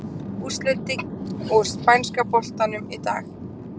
Úrslitin úr Spænska boltanum í dag: